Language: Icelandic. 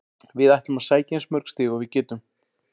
Við ætlum að sækja eins mörg stig og við getum.